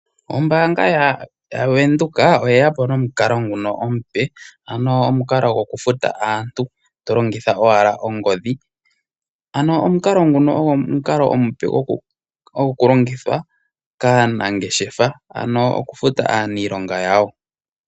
Ombaanga yaWindhoek oye ya po nomukalo nguka omupe ano omukalo gokufuta aantu to longitha owala ongodhi, ano omukalo nguno ogo omukalo omupe go ku longithwa kaanangeshefa ano okufuta aaniilonga yawo.